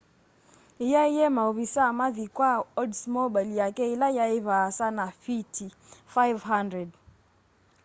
eîaîe maovisaa mathi kwa oldsmobile yake ila yai vaasa na fiti 500